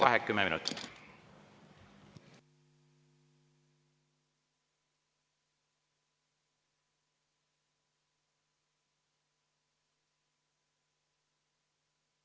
Vaheaeg kümme minutit.